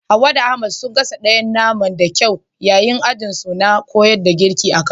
Hawwa da Ahmad sun gasa ɗayen nama da kyau yayin ajin su na koyan girki a kaduna